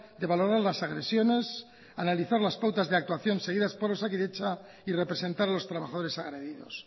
de valorar las agresiones analizar las pautas de actuación seguidas por osakidetza y representar a los trabajadores agredidos